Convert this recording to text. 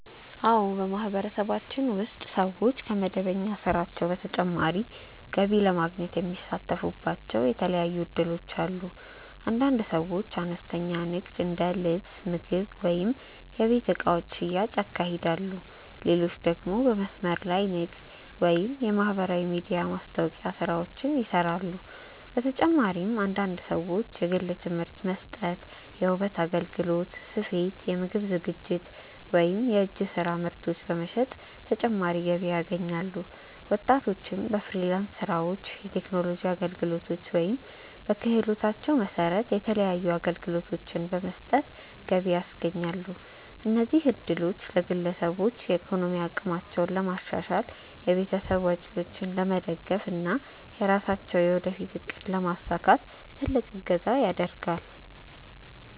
አዎ፣ በማህበረሰባችን ውስጥ ሰዎች ከመደበኛ ስራቸው በተጨማሪ ገቢ ለማግኘት የሚሳተፉባቸው የተለያዩ እድሎች አሉ። አንዳንድ ሰዎች አነስተኛ ንግድ እንደ ልብስ፣ ምግብ ወይም የቤት እቃዎች ሽያጭ ያካሂዳሉ፣ ሌሎች ደግሞ በመስመር ላይ ንግድ ወይም የማህበራዊ ሚዲያ ማስታወቂያ ስራዎችን ይሰራሉ። በተጨማሪም አንዳንድ ሰዎች የግል ትምህርት መስጠት፣ የውበት አገልግሎት፣ ስፌት፣ የምግብ ዝግጅት ወይም የእጅ ስራ ምርቶች በመሸጥ ተጨማሪ ገቢ ያገኛሉ። ወጣቶችም በፍሪላንስ ስራዎች፣ የቴክኖሎጂ አገልግሎቶች ወይም በክህሎታቸው መሰረት የተለያዩ አገልግሎቶችን በመስጠት ገቢ ያስገኛሉ። እነዚህ እድሎች ለግለሰቦች የኢኮኖሚ አቅማቸውን ለማሻሻል፣ የቤተሰብ ወጪዎችን ለመደገፍ እና የራሳቸውን የወደፊት እቅድ ለማሳካት ትልቅ እገዛ ያደርጋል።